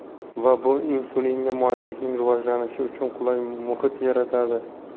Va bu insulinga moyillikning rivojlanishi uchun qulay muhit yaratadi.